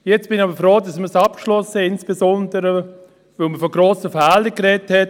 Jetzt bin ich aber froh, dass man es abgeschlossen hat, insbesondere, weil man von grossen Fehlern gesprochen hat.